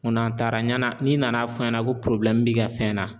n'an taara ɲana n'i nana fɔ n ɲɛna ko b'i ka fɛn na